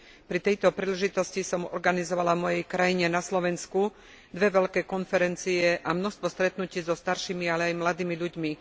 Pri tejto príležitosti som organizovala v mojej krajine, na Slovensku, dve veľké konferencie a množstvo stretnutí so staršími, ale aj mladými ľuďmi.